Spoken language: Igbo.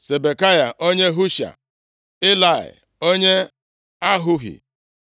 Sibekai onye Husha, Ilai onye Ahohi,